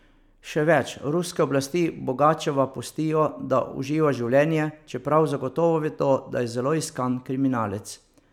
Še več, ruske oblasti Bogačeva pustijo, da uživa življenje, čeprav zagotovo vedo, da je zelo iskan kriminalec.